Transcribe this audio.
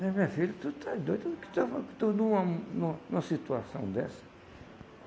Mas minha filha, tu está doida, que tu está que tu nu an nu numa situação dessa?